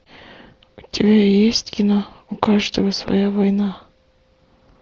у тебя есть кино у каждого своя война